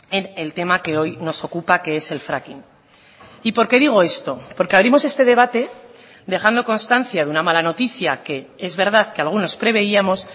en el tema que hoy nos ocupa que es el fracking y por qué digo esto porque abrimos este debate dejando constancia de una mala noticia que es verdad que algunos preveíamos